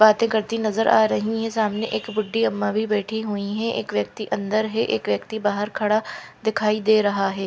बातें करती नज़र आ रही हैं सामने एक बुड्ढी अम्मा भी बैठी हुई हैं एक व्यक्ति अन्दर है एक व्यक्ति बाहर खड़ा दिखाई दे रहा है।